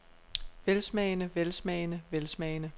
velsmagende velsmagende velsmagende